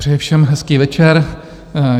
Přeji všem hezký večer.